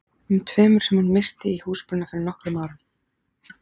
um tveimur sem hún missti í húsbruna fyrir nokkrum árum.